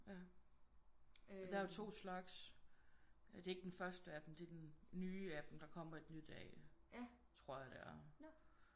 Ja og der er jo to slags. Det er ikke den første af dem det er den nye af dem der kommer et nyt af tror jeg det er